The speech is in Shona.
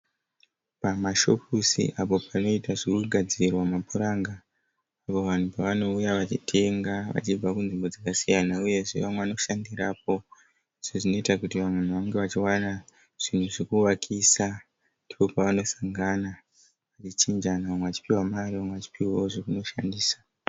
Pamashopusi apo panoitwa zvekugadzirwa mapuranga apo vanhu pavanouya vachitenga vachibva kunzvimbo dzakasiyana uyezve vamwe vanoshandirapo sezvinoita kuti vanhu vange vachiwana zvinhu zvekuvakisa . Ndipo pavanosangana vachichinjana vamwe vachipiwa mari vamwe vachiwana zvokushandisa.